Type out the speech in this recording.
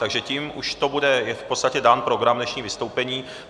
Takže tím už to bude v podstatě dán program dnešních vystoupení.